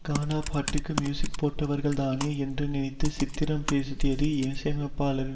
கானா பாட்டுக்கு மியூசிக் போட்டவர்தானே என்று நினைத்து சித்திரம் பேசுதடி இசையமைப்பாளரின்